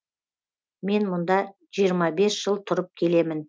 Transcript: мен мұнда жиырм бес жыл тұрып келемін